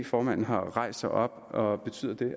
formanden har rejst sig op og betyder det